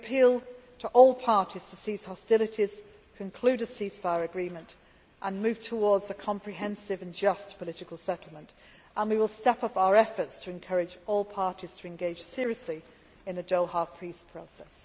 So we appeal to all parties to cease hostilities, conclude a ceasefire agreement and move towards a comprehensive and just political settlement, and we will step up our efforts to encourage all parties to engage seriously in the Doha peace process.